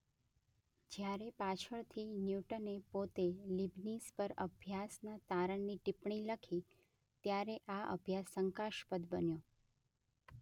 જ્યારે પાછળથી ન્યૂટને પોતે લીબનીઝ પર અભ્યાસના તારણની ટીપ્પણી લખી ત્યારે આ અભ્યાસ શંકાસ્પદ બન્યો.